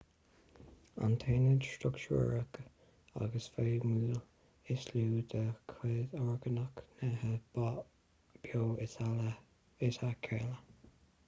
an t-aonad struchtúrach agus feidhmiúil is lú de chuid orgánach nithe beo is ea cealla